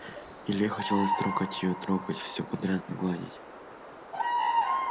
илье хотелось трогать её трогать все подряд гладить